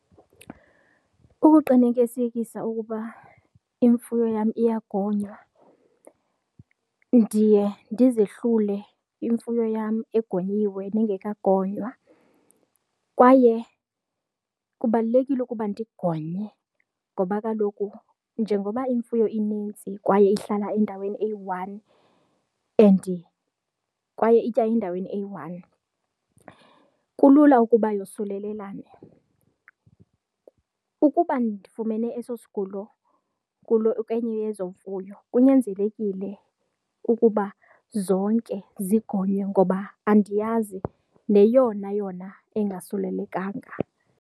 Ukuqinikesekisa ukuba imfuyo yam iyagonywa ndiye ndizehlule imfuyo yam egonyiwe nengekagonywa, kwaye kubalulekile ukuba ndingonye ngoba kaloku njengoba imfuyo inintsi kwaye ihlala endaweni eyi-one and kwaye itya endaweni eyi-one, kulula ukuba yosulelelane. Ukuba ndifumene eso sigulo kwenye yezo mfuyo, kunyanzelekile ukuba zonke zigonywe ngoba andiyazi neyona yona engasulelekanga.